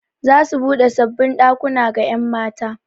Za su buɗe sabbin ɗakuna ga 'yan mata.